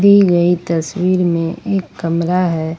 दी गई तस्वीर में एक कमरा है।